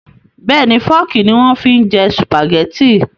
Bẹ́ẹ̀ni Fọ́ọ́kì ni wọ́n fi ń jẹ Sùpàgẹ́tì